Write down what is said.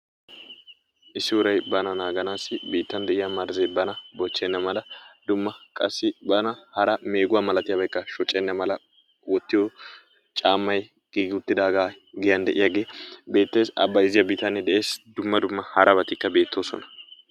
Issi urayi bana naaganaassi biittan de"iya marzzee bana bochchenna mala dumma bana qassi hara meeguwa malatiyabaykka shocenna mala wottiyo caammayi giigi uttidaaga giyan de"iyagee beettes. A bayzziya bitanee de"es. Dumma dumma harabatikka beettoosona.